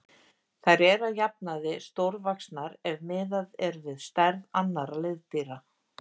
Þær eru að jafnaði stórvaxnar ef miðað er við stærð annarra liðdýra.